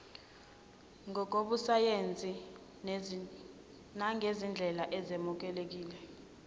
ngokobusayensi nangezindlela ezemukelekile